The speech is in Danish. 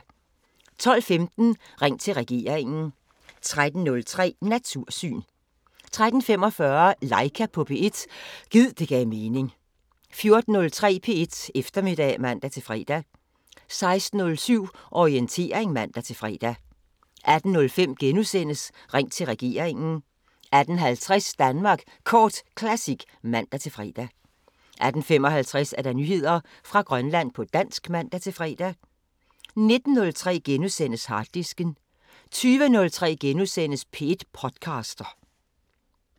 12:15: Ring til regeringen 13:03: Natursyn 13:45: Laika på P1 – gid det gav mening 14:03: P1 Eftermiddag (man-fre) 16:07: Orientering (man-fre) 18:05: Ring til regeringen * 18:50: Danmark Kort Classic (man-fre) 18:55: Nyheder fra Grønland på dansk (man-fre) 19:03: Harddisken * 20:03: P1 podcaster *